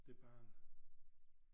Det barn